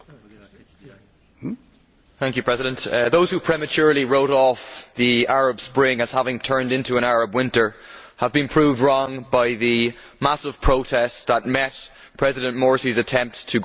Mr President, those who prematurely wrote off the Arab Spring as having turned into an Arab winter have been proved wrong by the massive protests that met President Morsi's attempts to grab greater powers for himself.